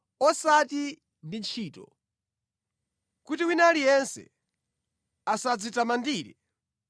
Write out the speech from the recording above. osati ndi ntchito, kuti wina aliyense asadzitamandire.